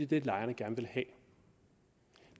det lejerne gerne vil have